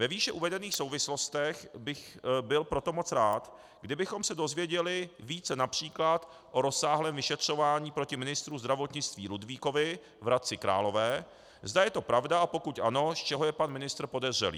Ve výše uvedených souvislostech bych byl proto moc rád, kdybychom se dozvěděli více například o rozsáhlém vyšetřování proti ministru zdravotnictví Ludvíkovi v Hradci Králové, zda je to pravda, a pokud ano, z čeho je pan ministr podezřelý.